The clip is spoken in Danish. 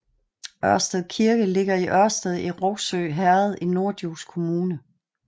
Ørsted Kirke ligger i Ørsted i Rougsø Herred i Norddjurs Kommune